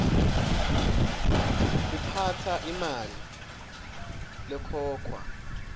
kuphatsa imali lekhokhwa